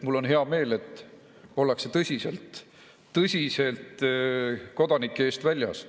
Mul on hea meel, et ollakse tõsiselt kodanike eest väljas.